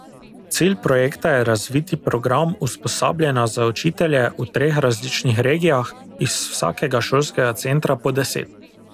Cilj projekta je razviti program usposabljanja za učitelje v treh različnih regijah, iz vsakega šolskega centra po deset.